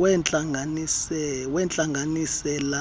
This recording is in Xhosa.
wentlanganisela